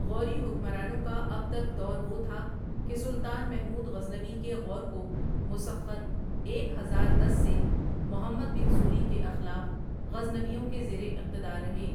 غوری حکمرانوں کا اب تک دور وہ تھا کہ سلطان محمود غزنوی کے غور کو مسخر ایک ہزار دس سے محمد بن سوری کے اخلاف غزنویوں کے زیر اقتدار رہے ۔